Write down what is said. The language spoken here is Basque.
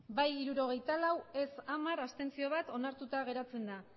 hamabost bai hirurogeita lau ez hamar abstentzioak bat onartuta geratzen da